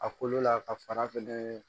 A kolo la ka fara fɛnɛ